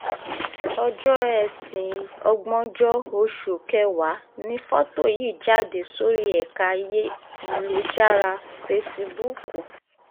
ọjọ́ etí ògbóńjọ oṣù kẹwàá ni fọ́tò yìí jáde sórí ẹ̀ka ayélujára fẹsíbúùkù